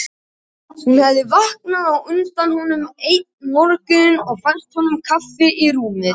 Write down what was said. Hún hafði vaknað á undan honum einn morguninn og fært honum kaffi í rúmið.